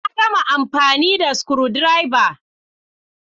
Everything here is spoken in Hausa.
Na gama amfani da screwdriver.